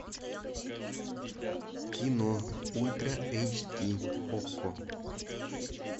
кино ультра эйч ди окко